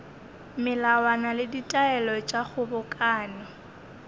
melawana le ditaelo tša kgobokano